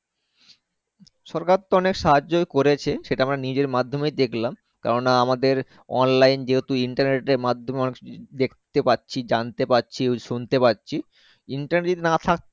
সরকার তো অনেক সাহায্যে করেছে সেটা আমরা নিজে মাধ্যমে দেখলাম কেননা আমাদের Online Internet এর মাধ্যমে অনেক কিছু দেখতে পাচ্ছি জানতে পাচ্ছি শুনতে পাচ্ছি Internet যদি না থাক